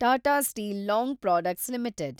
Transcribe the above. Tata Steel Long Products limited